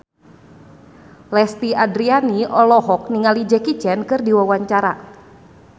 Lesti Andryani olohok ningali Jackie Chan keur diwawancara